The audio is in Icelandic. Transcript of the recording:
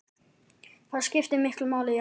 Það skiptir miklu máli, já.